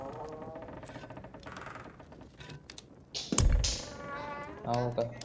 काय म्हणतो तो हो का